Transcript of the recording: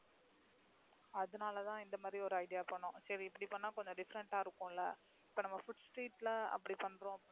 அதனால தான் இந்த மாதிரி ஒரு Idea பண்ணினோம். சரி இப்படி பண்ணினா கொஞ்சம் Different ஆ இருக்கும்ல. இப்ப Food street ல அப்படி பண்றோம்